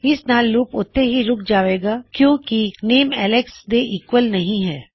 ਇਸ ਨਾਲ ਲੂਪ ਉੱਥੇ ਹੀ ਰੁਕ ਜਾਵੇਗਾ ਕਿਉਂ ਕੀ ਬਿਣ ਨੇਮ ਐੱਲਕਸ ਦੇ ਈਕਵਲ ਨਹੀ ਹੈ